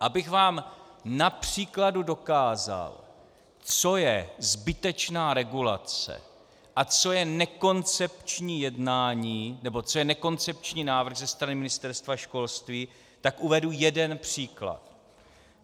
Abych vám na příkladu dokázal, co je zbytečná regulace a co je nekoncepční návrh ze strany Ministerstva školství, tak uvedu jeden příklad.